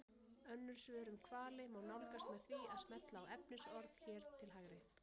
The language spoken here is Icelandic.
Önnur svör um hvali má nálgast með því að smella á efnisorð hér til hægri.